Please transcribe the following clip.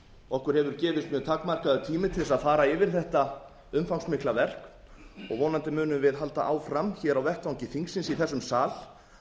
okkur hefur gefist mjög takmarkaður tími til þess að fara yfir þetta umfangsmikla verk og vonandi munum við halda áfram hér á vettvangi þingsins hér í þessum sal